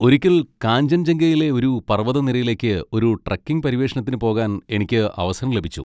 ഒരിക്കൽ കാഞ്ചൻജംഗയിലെ ഒരു പർവ്വതനിരയിലേക്ക് ഒരു ട്രക്കിംഗ് പര്യവേഷണത്തിന് പോകാൻ എനിക്ക് അവസരം ലഭിച്ചു.